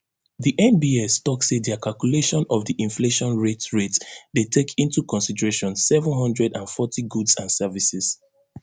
di nbs tok say dia calculation of di inflation rate rate dey take into consideration seven hundred and forty goods and services